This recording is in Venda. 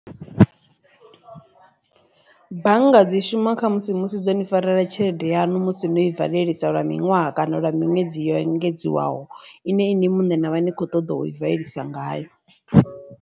Bannga dzi shuma kha musi musi dzo ni farela tshelede yanu musi no i valisa lwa miṅwaha kana lwa miṅwedzi yo engedziwaho ine inwi muṋe na vha ni kho ṱoḓa u i badelisa ngayo.